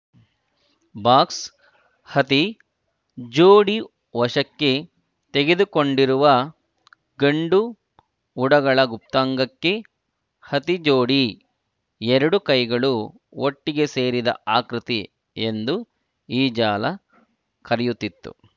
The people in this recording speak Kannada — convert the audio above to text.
ಬಾಕ್ಸ್‌ ಹತಿ ಜೋಡಿ ವಶಕ್ಕೆ ತೆಗೆದುಕೊಂಡಿರುವ ಗಂಡು ಉಡಗಳ ಗುಪ್ತಾಂಗಕ್ಕೆ ಹತಿ ಜೋಡಿ ಎರಡು ಕೈಗಳು ಒಟ್ಟಿಗೆ ಸೇರಿದ ಆಕೃತಿ ಎಂದು ಈ ಜಾಲ ಕರೆಯುತ್ತಿತ್ತು